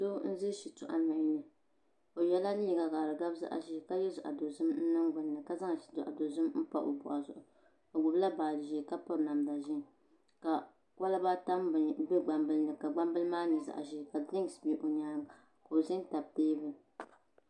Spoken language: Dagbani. Doo n za Shitɔɣu du noli ni o yiɛla liiga ka di gabi zaɣi zɛɛ ka yiɛ zaɣi dozim n niŋ gbunni ka zaŋ zaɣi dozim n pa o bɔɣu zuɣu o gbubi la baaji zɛɛ ka piri namda ʒɛɛ ka koliba tam gban bili ni ka gban bili maa yɛ zaɣi zɛɛ ka koliba tam gban bili ni .